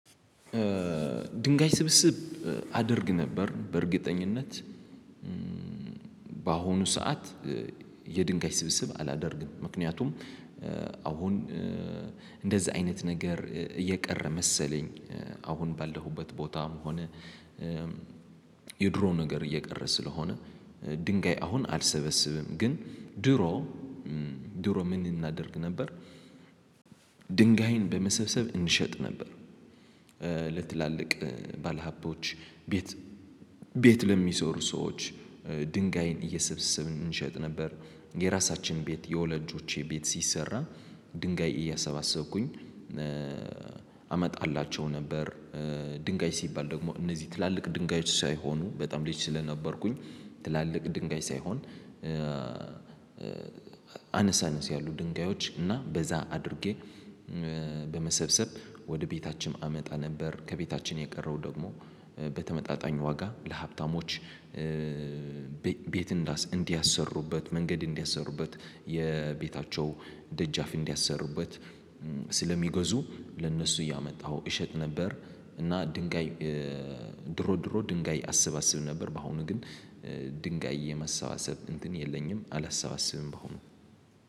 ድንጋይ ስብስብ አደርግ ነበር። በእርግጠኝነት በአሁኑ ሰዓት የድንጋይ ስብስብ አላደርግም። ምክንያቱም አሁን እንደዛ አይነት ነገር እየቀረ መሰለኝ። አሁን ባለሁበት ቦታም ሆነ የድሮ ነገር እየቀረ ስለሆነ ድንጋይ አሁን አልሰበስብም። ግን ድሮ ድሮ ምን እናደርግ ነበር? ድንጋይን በመሰብሰብ እንሸጥ ነበር። ለትላልቅ ባለሀቦች ቤት ለሚሰሩ ሰዎች ድንጋይን እየሰብስብን እንሸጥ ነበር። የራሳችን ቤት የወላጆቼ ቤት ሲሰራ ድንጋይ እያሰባሰብኩኝ አመጣላቸው ነበር። ድንጋይ ሲባል ደግሞ እነዚህ ትላልቅ ድንጋዮች ሳይሆኑ በጣም ልጅ ስለነበርኩኝ ትላልቅ ድንጋይ ሳይሆን። አነስ አነስ ያሉ ድንጋዮች እና በዛ አድርጌ በመሰብሰብ ወደ ቤታችን አመጣ ነበር። ከቤታችን የቀረው ደግሞ በተመጣጣኝ ዋጋ ለሀብታሞች ቤት እንዲያሰሩበት መንገድ እንዲያሰሩበት የቤታቸው ደጃፍ እንዲያሰሩበት ስለሚገዙ ለእነሱ እያመጣሁ እሸጥ ነበር። እና ድንጋይ ድሮ ድሮ ድንጋይ አስባስብ ነበር። በአሁኑ ግን ድንጋይ የማሰባሰብ እንትን የለኝም አላሰባስብም። በአሁኑ